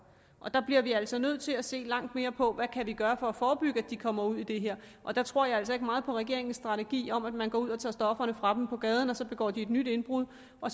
der bliver vi altså nødt til at se langt mere på hvad vi kan gøre for at forebygge at de kommer ud i det her og der tror jeg altså ikke meget på regeringens strategi om at man går ud og tager stofferne fra dem på gaden og så begår de et nyt indbrud og